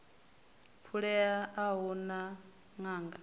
phulea a hu na ṅanga